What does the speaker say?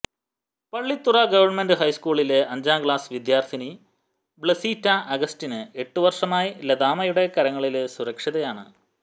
Pallithura government ഹൈസ്കൂളിലെ അഞ്ചാം class വിദ്യാര്ത്ഥിനി ബ്ലസീറ്റ അഗസ്റ്റിന് എട്ടു വര്ഷമായി ലതാമ്മയുടെ കരങ്ങളില് സുരക്ഷിതയാണ്